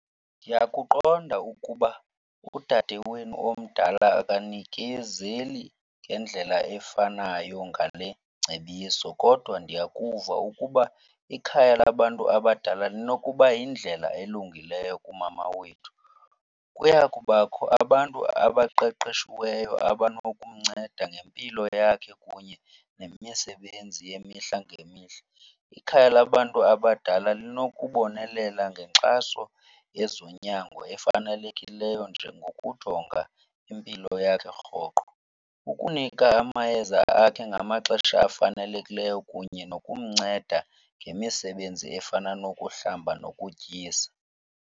Ndiyakuqonda ukuba udade wenu omdala akanikezeli ngendlela efanayo ngale ngcebiso kodwa ndiyakuva ukuba ikhaya labantu abadala linokuba yindlela elungileyo kumama wethu. Kuya kubakho abantu abaqeqeshiweyo abanokumnceda ngempilo yakhe kunye nemisebenzi yemihla ngemihla. Ikhaya labantu abadala linokubonelela ngenkxaso yezonyango efanelekileyo njengokujonga impilo yakhe rhoqo, ukunika amayeza akhe ngamaxesha afanelekileyo kunye nokumnceda ngemisebenzi efana nokuhlamba nokutyisa.